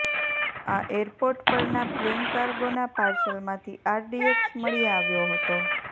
આ એરપોર્ટ પરના પ્લેન કાર્ગોના પાર્સલમાંથી આરડીએકસ મળી આવ્યો હતો